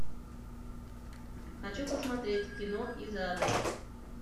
хочу посмотреть кино из ада